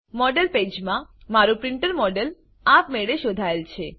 model પેજમાં મારું printer model આપમેળે શોધાયેલ છે